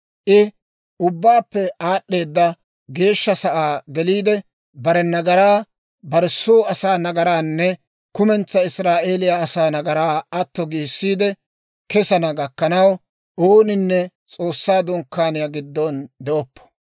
I Ubbaappe Aad'd'eeda Geeshsha Sa'aa geliide, bare nagaraa, bare soo asaa nagaraanne kumentsaa Israa'eeliyaa asaa nagaraa atto giissiide kesana gakkanaw, ooninne S'oossaa Dunkkaaniyaa giddon de'oppo.